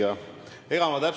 Hea küsija!